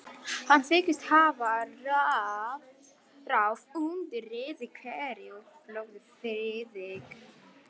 Hann þykist hafa ráð undir rifi hverju, hugsaði Friðrik.